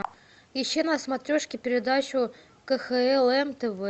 ищи на смотрешке передачу кхлм тв